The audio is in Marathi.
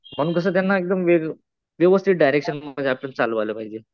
म्हणून कसं त्यांना एकदम व्यवस्थित डायरेक्शन मध्ये आपण चालवायला पाहिजे.